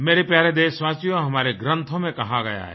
मेरे प्यारे देशवासियो हमारे ग्रंथों में कहा गया है